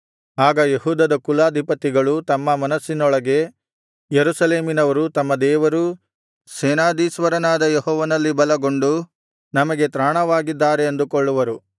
ಆಗ ಯೆಹೂದದ ಕುಲಪತಿಗಳು ತಮ್ಮ ಮನಸ್ಸಿನೊಳಗೆ ಯೆರೂಸಲೇಮಿನವರು ತಮ್ಮ ದೇವರೂ ಸೇನಾಧೀಶ್ವರನಾದ ಯೆಹೋವನಲ್ಲಿ ಬಲಗೊಂಡು ನಮಗೆ ತ್ರಾಣವಾಗಿದ್ದಾರೆ ಅಂದುಕೊಳ್ಳುವರು